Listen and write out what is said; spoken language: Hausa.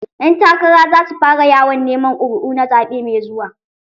Ƴan takara za su fara yawon neman ƙuri'o na zaɓe mai zuwa.